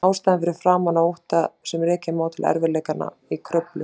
Ástæðan var framan af ótti sem rekja má til erfiðleikanna í Kröflu.